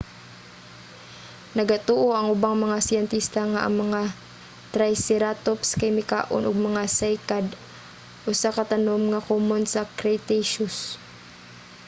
nagatuo ang ubang mga siyentista nga ang mga triceratops kay mikaon og mga cycad usa ka tanom nga komon sa cretaceous